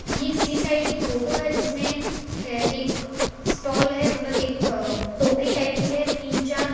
ये किसी साइड की फोटो है जिसमें एक स्टॉल है मतलब एक अ टोकरी टाइप की है तीन चार --